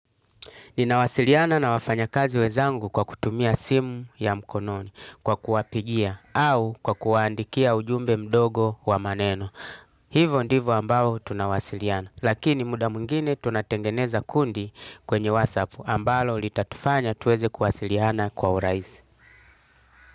Ninawasiliana na wafanyakazi wenzangu kwa kutumia simu ya mkononi kwa kuwapigia au kwa kuwaandikia ujumbe mdogo wa maneno. Hivo ndivo ambao tunawasiliana. Lakini muda mwingine tunatengeneza kundi kwenye whatsapp ambalo litatufanya tuweze kuwasiliana kwa urahisi.